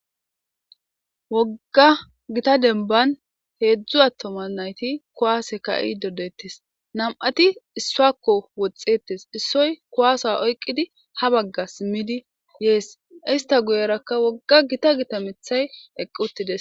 Wooga gita denban hedzdzu attuma nayti kuwasse ka'ididettes.nam'atti issuwakko woxxettes. Issoy kuwasa oyqqidi habagga simiddi yes. Heyssa guyerakka wogga gita Gita miththay eqqi uttides.